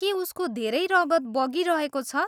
के उसको धेरै रगत बगिरहेको छ?